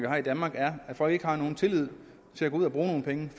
har i danmark er at folk ikke har nogen tillid til at gå ud og bruge nogle penge